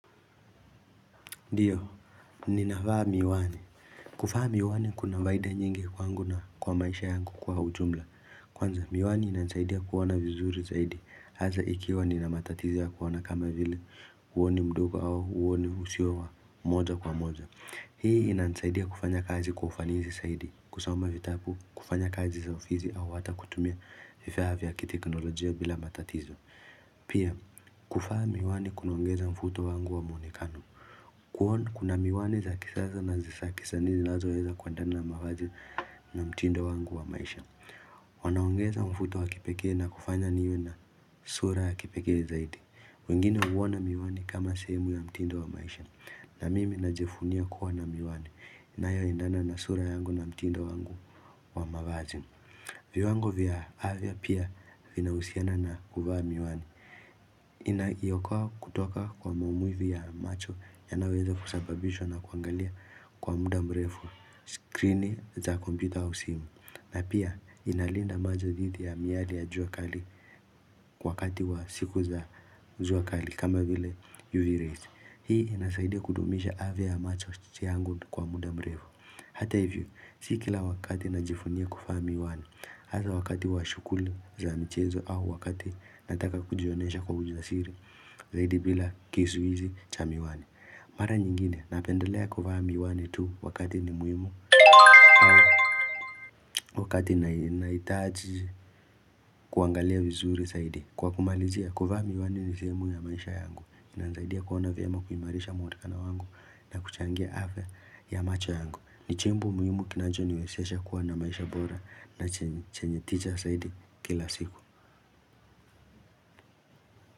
Ndiyo, ninavaa miwani. Kuvaa miwani kuna faida nyingi kwangu na kwa maisha yangu kwa ujumla. Kwanza, miwani inasaidia kuona vizuri zaidi. Hasa ikiwa nina matatizo ya kuona kama vile huoni mdogo au huoni usiwa wa moja kwa moja. Hii inanisaidia kufanya kazi kwa ufanisi zaidi, kusoma vitabu, kufanya kazi za ofisi au hata kutumia vifaa vya kiteknolojia bila matatizo. Pia kuvaa miwani kunaongeza mfuto wangu wa mwonekano Kuna miwani za kisasa na za kisanii ninazoweza kuendana na mavazi na mtindo wangu wa maisha Wanaongeza mvuto wa kipeke na kufanya niwe na sura ya kipekee zaidi wengine huona miwani kama sehemu ya mtindo wa maisha na mimi najivunia kuwa na miwani inayoendana na sura yangu na mtindo wangu wa mavazi viwango vya afya pia vinahusiana na kuvaa miwani Inaiokoa kutoka kwa maumivu ya macho yanayoweza kusababishwa na kuangalia kwa muda mrefu screen za kompyuta au simu na pia inalinda macho dhidi ya miali ya jua kali kwa wakati wa siku za jua kali kama vile UV rays Hii inasaidia kudumisha afya ya macho yangu kwa muda mrefu Hata hivyo, sikila wakati najivunia kuvaa miwani Hasa wakati wa shughuli za michezo au wakati nataka kujionyesha kwa ujasiri Zaidi bila kisuizi cha miwani Mara nyingine napendelea kuvaa miwane tu wakati ni muhimu Wakati nahitaji kuangalia vizuri zaidi Kwa kumalizia kuvaa miwani ni sehemu ya maisha yangu Inasaidia kuona vyema kuimarisha mwonekano wangu na kuchangia afya ya macho yangu ni chombo muhimu kinachoniwezesha kuwa na maisha bora na chenye tija zaidi kila siku.